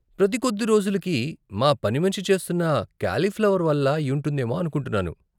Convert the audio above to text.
ప్రతి కొద్ది రోజులకి మా పనిమనిషి చేస్తున్న కాలిఫ్లవర్ వల్ల అయ్యుంటుందేమో అనుకుంటున్నాను.